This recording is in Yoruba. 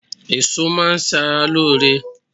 Èso má a n sara lóore